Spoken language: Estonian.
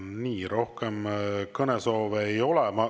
Nii, rohkem kõnesoove ei ole.